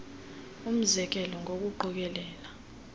umze kelo ngokuqokelela